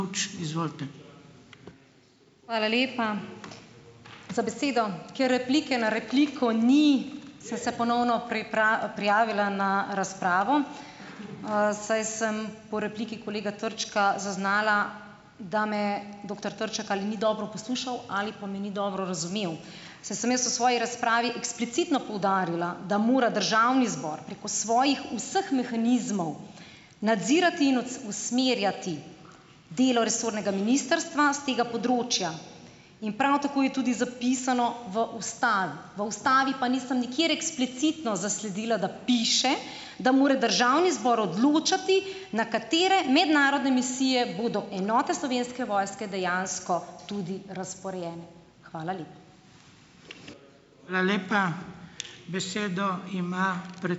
Hvala lepa za besedo. Ker replike na repliko ni, sem se ponovno prijavila na razpravo, saj sem po repliki kolega Trčka zaznala, da me doktor Trček ali ni dobro poslušal ali pa me ni dobro razumel. Saj sem jaz v svoji razpravi eksplicitno poudarila, da mora državni zbor preko svojih vseh mehanizmov nadzirati in usmerjati delo resornega ministrstva s tega področja in prav tako je tudi zapisano v ustavi. V ustavi pa nisem nikjer eksplicitno zasledila, da piše, da mora državni zbor odločati, na katere mednarodne misije, bodo enote Slovenske vojske dejansko tudi razporejene. Hvala lepa.